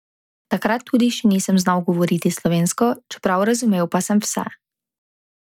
Takrat tudi še nisem znal govoriti slovensko, čeprav razumel pa sem vse.